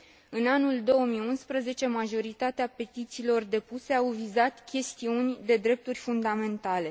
În anul 2011, majoritatea petițiilor depuse au vizat chestiuni de drepturi fundamentale.